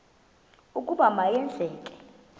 ukuba ma yenzeke